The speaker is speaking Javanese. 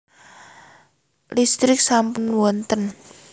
Listrik sampun wonten